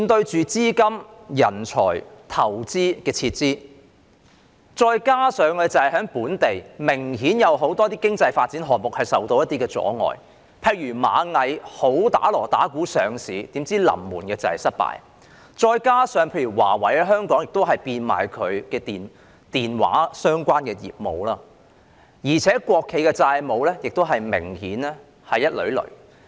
資金、人才、投資撤離，加上本地明顯有很多經濟發展項目受到阻礙，例如螞蟻集團大張旗鼓準備上市但臨門失敗，華為技術有限公司亦在香港變賣其電話相關業務，而且國企明顯債務累累。